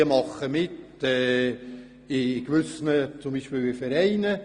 Sie engagieren sich vielleicht zum Beispiel in Vereinen.